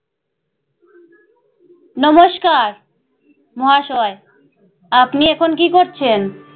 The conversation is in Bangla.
নমস্কার, মহাশয় আপনি এখন কী করছেন?